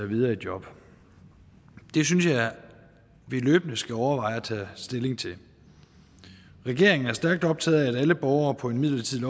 videre i job det synes jeg at vi løbende skal overveje at tage stilling til regeringen er stærkt optaget af at alle borgere på en midlertidig